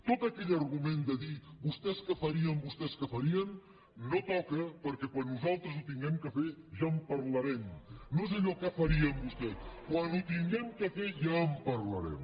tot aquell argument de dir vostès què farien vostès que farien no toca perquè quan nosaltres ho hàgim de fer ja en parlarem no és allò de què farien vostès quan ho hàgim de fer ja en parlarem